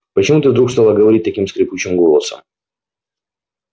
почему ты вдруг стала говорить таким скрипучим голосом